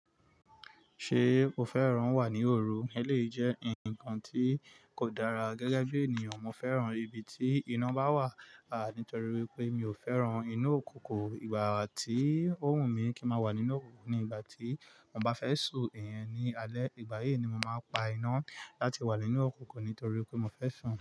Ṣé o fẹ́ràn wà ní òru? Eleyii jẹ́ ǹkan tí kò dára gẹ́gẹ́ bí ènìyàn, mo fẹ́ràn ibi tí iná bá wà, à nítorí pé mi ò fẹ́ràn inú òkunkun ìgbà tí ó wùn mí kín má wà nínú òkunkun ìgbà tí mo bá fẹ́ sun iyen ní alẹ́. Ìgbà yìí ni mo máa pa iná láti wà nínú òkunòkun nítorí pé mo fẹ́ sun.